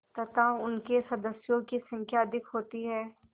तथा उनके सदस्यों की संख्या अधिक होती है